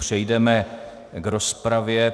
Přejdeme k rozpravě.